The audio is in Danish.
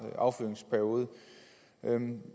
affyringsperiode